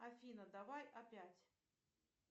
афина давай опять